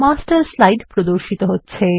master slide প্রদর্শিত হচ্ছে